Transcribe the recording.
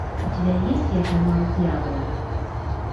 у тебя есть я поймал дьявола